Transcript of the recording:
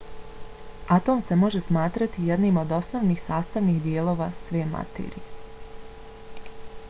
atom se može smatrati jednim od osnovnih sastavnih dijelova sve materije